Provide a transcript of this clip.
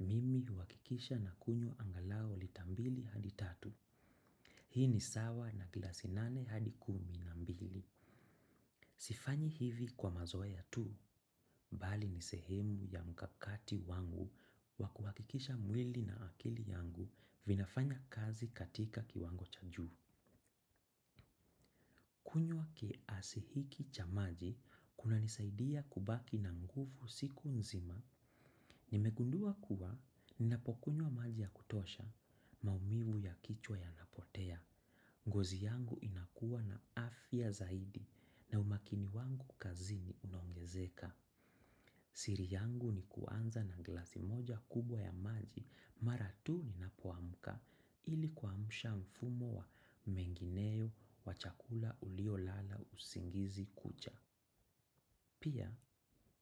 mimi huakikisha na kunywa angalau lita mbili hadi tatu. Hii ni sawa na glasi nane hadi kumi na mbili. Sifanyi hivi kwa mazoe ya tu, bali nisehemu ya mkakati wangu wakuhakikisha mwili na akili yangu vinafanya kazi katika kiwango cha juhu. Kunywa ki asihiki cha maji, kuna nisaidia kubaki na nguvu siku nzima. Nimegundua kuwa, ninapokunywa maji ya kutosha, maumivu ya kichwa ya napotea. Ngozi yangu inakuwa na afya zaidi na umakini wangu kazini unongezeka. Siri yangu ni kuanza na glasi moja kubwa ya maji mara tu ni napoamuka ili kwa msha mfumo wa mengineo wa chakula ulio lala usingizi kucha. Pia,